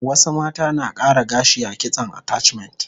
Wasu mata na kara gashi a kitson attachment